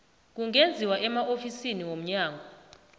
kungenziwa emaofisini womnyango